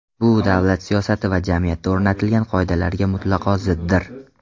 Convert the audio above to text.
Bu davlat siyosati va jamiyatda o‘rnatilgan qoidalarga mutlaqo ziddir.